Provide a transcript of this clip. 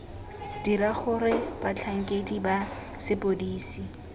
dira gore batlhankedi ba sepodisi